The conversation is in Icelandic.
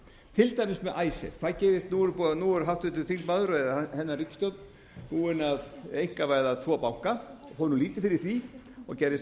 til dæmis með icesave nú er háttvirtur þingmaður eða hennar ríkisstjórn búin að einkavæða tvo banka og fór lítið fyrir því og gerðist